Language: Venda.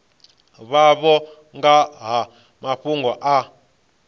vhavho nga ha mafhungo a